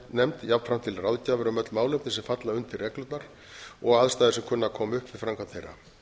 forsætisnefnd jafnframt til ráðgjafar um öll málefni sem falla undir reglurnar og aðstæður sem kunna að koma upp við framkvæmd þeirra